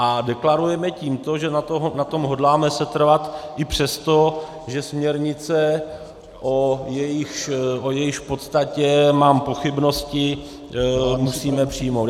A deklarujeme tím to, že na tom hodláme setrvat i přesto, že směrnici, o jejíž podstatě mám pochybnosti, musíme přijmout.